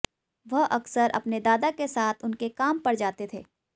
वह अक्सर अपने दादा के साथ उनके काम पर जाते थे